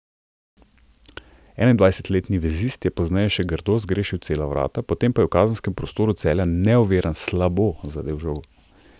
Enaindvajsetletni vezist je pozneje še grdo zgrešil cela vrata, potem ko je v kazenskem prostoru Celja neoviran slabo zadel žogo.